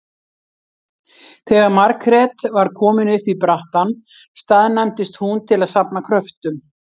Þegar Margrét var komin upp í brattann staðnæmdist hún til að safna kröftum.